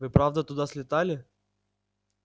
вы правда туда слетали